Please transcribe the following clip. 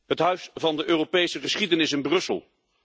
Het Huis van de Europese geschiedenis in Brussel.